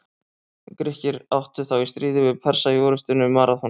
Grikkir áttu þá í stríði við Persa í orrustunni um Maraþon.